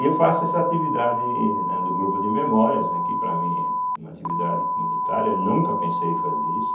E eu faço essa atividade, né, do Grupo de Memórias, que para mim é uma atividade comunitária, nunca pensei em fazer isso.